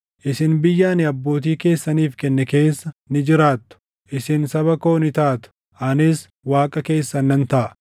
Isin biyya ani abbootii keessaniif kenne keessa ni jiraattu; isin saba koo ni taatu; anis Waaqa keessan nan taʼa.